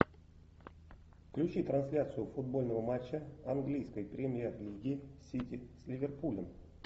включи трансляцию футбольного матча английской премьер лиги сити с ливерпулем